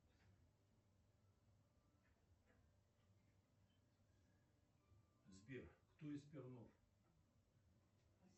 сбер кто из пернов